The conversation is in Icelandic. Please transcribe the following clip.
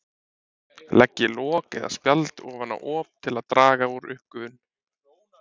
Leggið lok eða spjald ofan á op til að draga úr uppgufun.